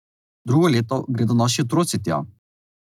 Drugo leto gredo naši otroci tja.